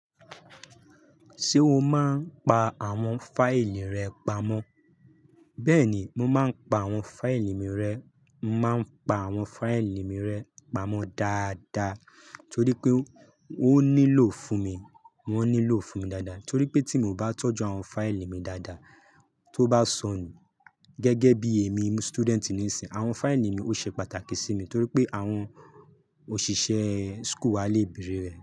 Ṣé o máa ń pa àwọn fáìlì rẹ pamọ́? Bẹ́ẹ̀ni, mo máa ń pa àwọn fáìlì mi rẹ, màá ń pa àwọn fáìlì mi rẹ pamọ́ dáadáa torí pé ó nílò fún mi, wọ́n nílò fún mi dáadáa. Torí pé tí mo bá tọ́jú àwọn fáìlì mi dáadáa, tó bá sọnù, gẹ́gẹ́ bí èmi student níìsín, àwọn fáìlì mi ó ṣe pàtàkì sí mi torí pé àwọn òṣìṣẹ́ school wa lè bèrè rẹ̀